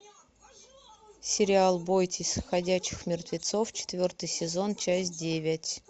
сериал бойтесь ходячих мертвецов четвертый сезон часть девять